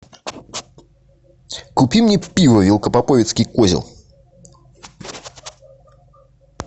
купи мне пиво велкопоповицкий козел